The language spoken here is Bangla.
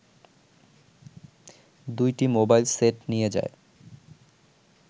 ২টি মোবাইল সেট নিয়ে যায়